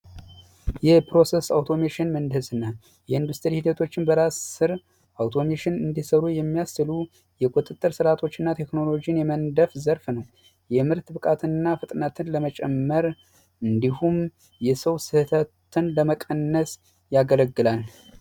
የፕሮሰስ አውቶሜሽን ምንዝና የኢንዱስትሪ ሂደቶችን በራስ ስር አቶ የሚያሉ የቁጥጥር ስርዓቶች እና ቴክኖሎጂን የመንደፍ ዘርፍ ነው የምርት ብቃትና ፍጥነትን ለመጨመር እንዲሁም የሰው ስህተትን ለመቀነስ ያገለግላል